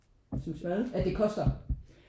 Du synes hvad?